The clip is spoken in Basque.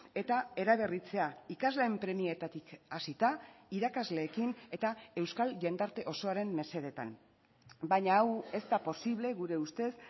eta eraberritzea ikasleen premietatik hasita irakasleekin eta euskal jendarte osoaren mesedetan baina hau ez da posible gure ustez